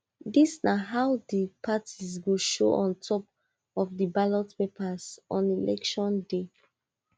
dis na how di parties go show on top of di ballot paper on election day